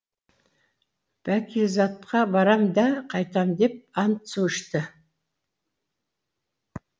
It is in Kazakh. бәкизатқа барам да қайтам деп ант су ішті